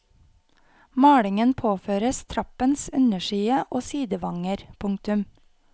Malingen påføres trappens underside og sidevanger. punktum